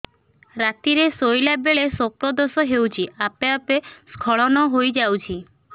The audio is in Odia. ରାତିରେ ଶୋଇଲା ବେଳେ ସ୍ବପ୍ନ ଦୋଷ ହେଉଛି ଆପେ ଆପେ ସ୍ଖଳନ ହେଇଯାଉଛି